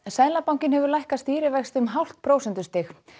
seðlabankinn hefur lækkað stýrivexti um hálft prósentustig